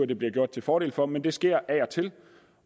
det bliver gjort til fordel for men det sker af og til